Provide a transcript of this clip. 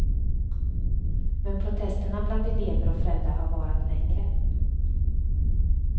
Men protesterna bland elever och föräldrar har varat längre.